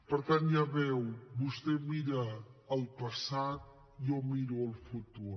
per tant ja ho veu vostè mira el passat jo miro el futur